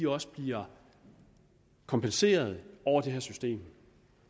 også bliver kompenseret over det her system